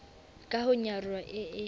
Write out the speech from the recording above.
ka ho nyaroha e e